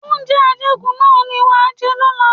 Oúnjẹ ajẹkù náà ni wàá jẹ lọ́la!